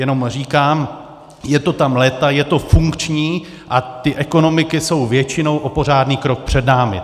Jenom říkám, je to tam léta, je to funkční a ty ekonomiky jsou většinou o pořádný krok před námi.